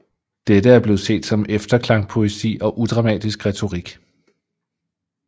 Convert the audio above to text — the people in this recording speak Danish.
Dette er blevet set som efterklangpoesi og udramatisk retorik